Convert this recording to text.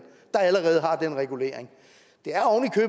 der allerede har den regulering